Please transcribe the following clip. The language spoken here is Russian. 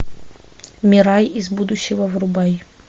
мира из будущего врубай